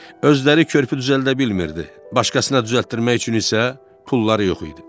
Özləri körpü düzəldə bilmirdi, başqasına düzəltdirmək üçün isə pulları yox idi.